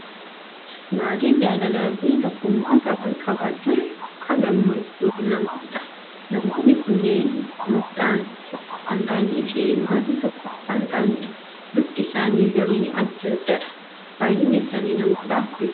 Maatii jaalalaa fi tokkummaa qaban qabaachuun burqaa gammachuu namaaf ta'a. Namoonni kunneen qomoodhaan tokko kan ta'anii fi maatii tokko kan ta'anidha. Bifti isaanii garuu adda addadha! Baay'inni isaanii namoota afuridha.